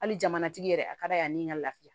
Hali jamana tigi yɛrɛ a ka d'a ye a ni ka lafiya